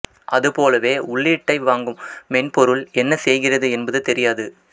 அது போலவே உள்ளீட்டை வாங்கும் மென்பொருள் என்ன செய்கிறது என்பது தெரியாது